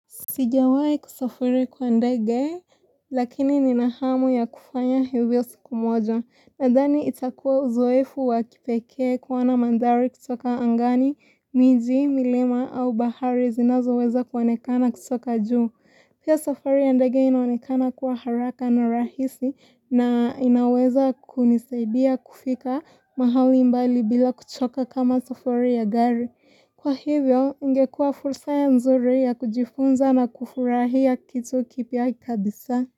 Sijawai kusafiri kwa ndege, lakini nina hamu ya kufanya hivyo siku moja. Nadhani itakua uzoefu wa kipeke kuona mandhari kutoka angani, miji, milima au bahari zinazo weza kuonekana kutoka juu. Pia safari ya ndege inaonekana kuwa haraka na rahisi na inaweza kunisaidia kufika mahali mbali bila kuchoka kama safari ya gari. Kwa hivyo, ingekua fursa ya nzuri ya kujifunza na kufurahia kitu kipya kabisa.